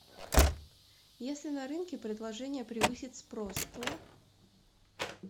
если на рынке предложение превысит спрос то